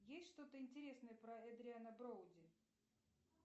есть что то интересное про эдриана броуди